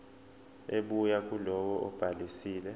ebuya kulowo obhalisile